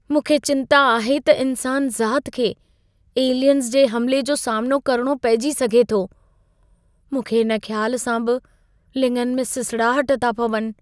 मूंखे चिंता आहे त इंसान ज़ात खे एलियंस जे हमिले जो सामनो करणो पइजी सघे थो। मूंखे इन ख़्याल सां बि लिङनि में सिसड़ाहट था पवनि।